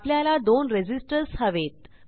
आपल्याला दोन रेझिस्टर्स हवेत